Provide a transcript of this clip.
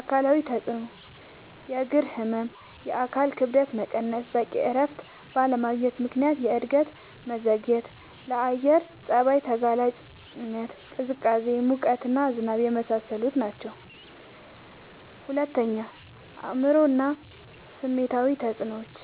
አካላዊ ተጽዕኖዎች፦ · የእግር ህመም፣ የአካል ክብደት መቀነስ፣ በቂ እረፍት ባለማግኘት ምክንያት የእድገት መዘግየትና፣ ለአየር ጸባይ ተጋላጭነት (ቅዝቃዜ፣ ሙቀት፣ ዝናብ) የመሳሰሉት ናቸዉ። ፪. አእምሯዊ እና ስሜታዊ ተጽዕኖዎች፦